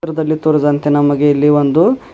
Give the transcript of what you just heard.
ಚಿತ್ರದಲ್ಲಿ ತೋರಿದಂತೆ ನಮಗೆ ಇಲ್ಲಿ ಒಂದು--